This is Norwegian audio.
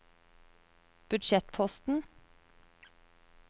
budsjettposten